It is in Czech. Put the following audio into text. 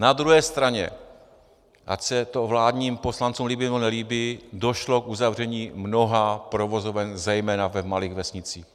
Na druhé straně, ať se to vládním poslancům líbí, nebo nelíbí, došlo k uzavření mnoha provozoven, zejména v malých vesnicích.